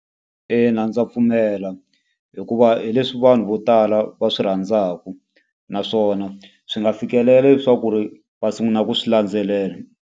Ina ndza pfumela. Hikuva hi leswi vanhu vo tala va swi rhandzaka, naswona swi nga fikelela leswaku ri va sungula ku swi landzelela.